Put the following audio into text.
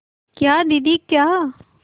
क्या दीदी क्या